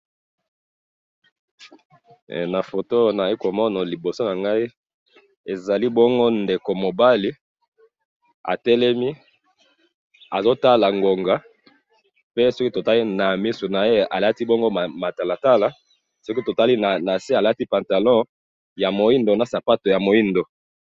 esika oyo eloko bazali kolakisa biso, tozali bongo komona ba ndeko ya basi misatu, ba ndeko ya basi yango tomoni bazali kitoko, pe bango nyoso bazali koseka, pe tomoni balati bango nyoso bilamba ya motane